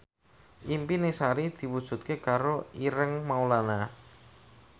impine Sari diwujudke karo Ireng Maulana